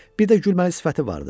Bir də gülməli sifəti vardı.